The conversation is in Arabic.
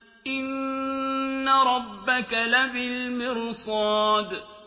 إِنَّ رَبَّكَ لَبِالْمِرْصَادِ